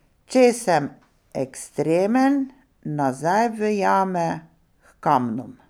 Če sem ekstremen, nazaj v jame, h kamnom.